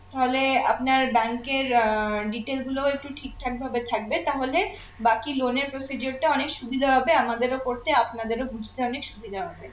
তাহলে আপনার bank এর আহ detail গুলো ঠিকঠাক ভাবে থাকবে তাহলে বাকি loan এর procedure টা অনেক সুবিধা হবে আমাদেরও করতে আপনাদেরও বুঝতে অনেক সুবিধা হবে